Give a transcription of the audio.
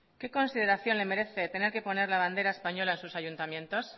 qué consideración le merece tener que poner la bandera española en sus ayuntamientos